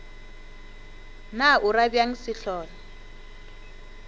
na o ra bjang sehlola